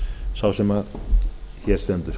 sá sem hér stendur